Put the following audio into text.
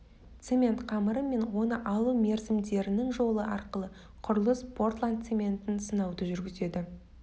цемент қамыры мен оны алу мерзімдерінің жолы арқылы құрылыс портландцементін сынауды жүргізеді